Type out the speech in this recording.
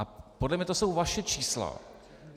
A podle mě jsou to vaše čísla.